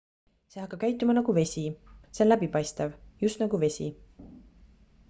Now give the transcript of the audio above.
see hakkab käituma nagu vesi see on läbipaistev just nagu vesi